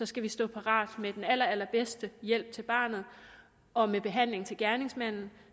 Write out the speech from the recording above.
skal vi stå parat med den allerallerbedste hjælp til barnet og med behandling til gerningsmanden